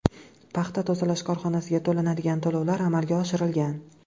Paxta tozalash korxonasiga to‘lanadigan to‘lovlar amalga oshirilgan.